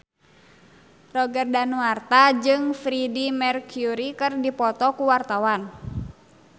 Roger Danuarta jeung Freedie Mercury keur dipoto ku wartawan